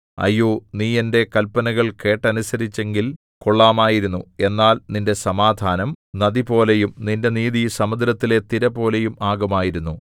അയ്യോ നീ എന്റെ കല്പനകൾ കേട്ടനുസരിച്ചെങ്കിൽ കൊള്ളാമായിരുന്നു എന്നാൽ നിന്റെ സമാധാനം നദിപോലെയും നിന്റെ നീതി സമുദ്രത്തിലെ തിരപോലെയും ആകുമായിരുന്നു